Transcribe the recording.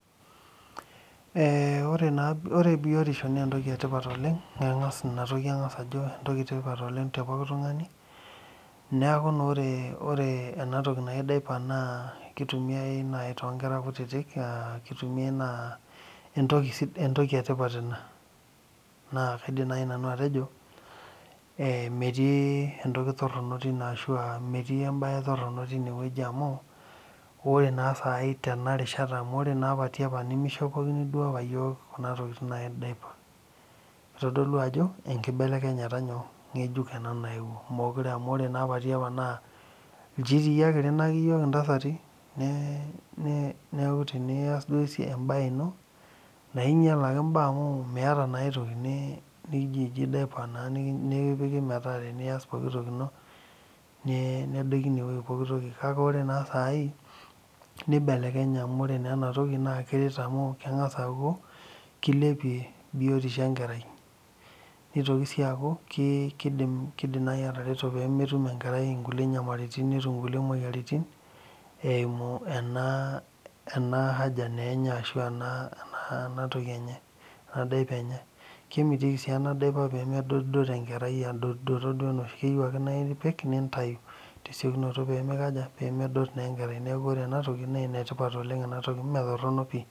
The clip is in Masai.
Ee ore biotisho na entoki etipat oleng tepooki tunganu neaku ore enatoki naji dipa nakitumia tonkera kutitik na kitumia anaa entoki etipat oleng na kaidim nanu atejo metii entoki toronok amu ore tenarishata mishipokini apa yiol kuna tokitin kitodolu ajo embelekenyata naewuo amu ore apa tiapa na nchiti apa irinaki yiok ntasati neaku tenias embae inob na inyal naa amu miata aitoki kake lre dipa nedoki pooki toki kake ore sai nibelekenye amu lre enatoki nibelekenye amu kengasa aaku ore enatoki na kilepie biotisho enkerai nitoki sii aku kitoki atareto pemetum enkerai nkulie nyamalitin eimu kuna tokitin enye kemitiki si enadipa pemedoto enkerai keyieu ake neaku ore enatoki na enetipat metoronok pii